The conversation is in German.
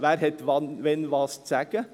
Wer hat wann was zu sagen?